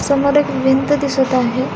समोर एक भिंत दिसत आहे.